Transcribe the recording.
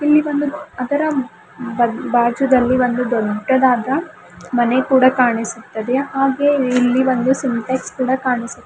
ಇಲ್ಲಿ ಒಂದು ಅದರ ಬ ಭಾಜುದಲ್ಲಿ ಒಂದು ದೊಡ್ಡದಾದ ಮನೆ ಕೂಡ ಕಾಣಿಸುತ್ತದೆ ಹಾಗೆ ಇಲ್ಲಿ ಒಂದು ಸಿಂಟೆಕ್ಸ ಕೂಡ ಕಾಣಿಸು --